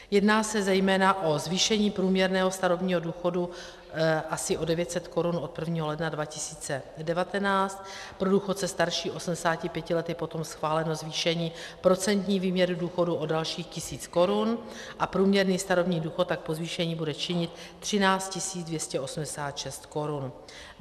Jedná se zejména o zvýšení průměrného starobního důchodu asi o 900 Kč od 1. ledna 2019, pro důchodce starší 80 let je potom schváleno zvýšení procentní výměry důchodu o dalších 1 000 Kč a průměrný starobní důchod tak po zvýšení bude činit 13 286 Kč.